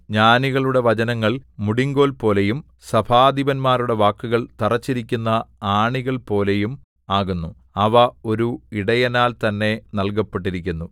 ജ്ഞാനികളുടെ വചനങ്ങൾ മുടിങ്കോൽപോലെയും സഭാധിപന്മാരുടെ വാക്കുകൾ തറച്ചിരിക്കുന്ന ആണികൾപോലെയും ആകുന്നു അവ ഒരു ഇടയനാൽ തന്നെ നല്കപ്പെട്ടിരിക്കുന്നു